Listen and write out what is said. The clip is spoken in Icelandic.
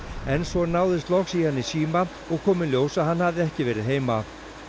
en svo náðist loks í hann í síma og kom í ljós að hann hafði ekki verið heima